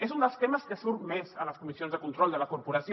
és un dels temes que surt més a les comissions de control de la corporació